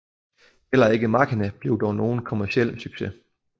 Heller ikke MACHINA blev dog nogen kommerciel succes